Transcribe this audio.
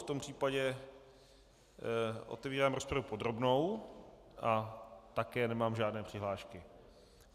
V tom případě otevírám rozpravu podrobnou a také nemám žádné přihlášky.